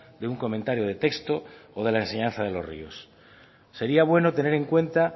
de un comentario de texto o de la enseñanza de los ríos sería bueno tener en cuenta